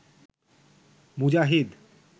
মুজাহিদ